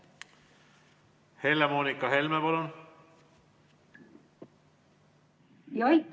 Helle-Moonika Helme, palun!